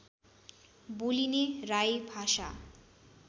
बोलिने राई भाषा